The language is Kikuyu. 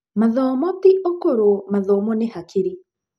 Mathomo ti ũkũrũ, mathomo nĩ hakiri.